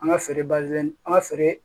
An ka feere bazin an ka feere